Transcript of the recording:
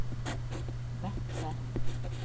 Vettre